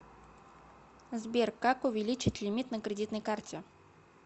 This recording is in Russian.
сбер как увеличить лимит на кредитной карте